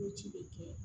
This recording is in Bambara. Ko ci bɛ kɛ